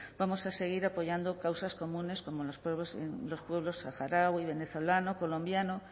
vamos a seguir apoyando causas comunes como los pueblos saharaui venezolano colombiano